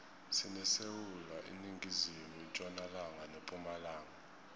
sinesewula iningizimu itjonalanga nepumalanga